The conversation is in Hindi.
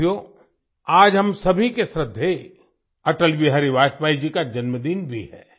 साथियो आज हम सभी के श्रद्धेय अटल बिहारी वाजपयी जी का जन्मदिन भी है